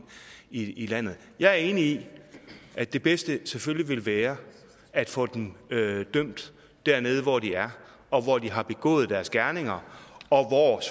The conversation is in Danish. i landet jeg er enig i at det bedste selvfølgelig ville være at få dem dømt dernede hvor de er og hvor de har begået deres gerninger og